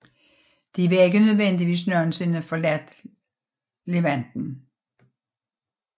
De har ikke nødvendigvis nogensinde forladt Levanten